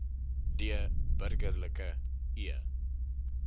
d burgerlike e